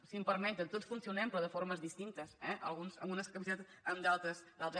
si em permeten tots funcionem però de formes distintes eh alguns amb unes capacitats altres amb d’altres